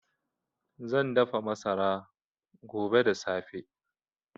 Zan dafa masara. gobe da safe